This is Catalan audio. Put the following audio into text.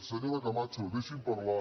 senyora camacho deixi’m parlar